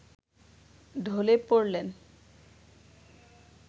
ঢলে পড়লেন